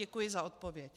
Děkuji za odpověď.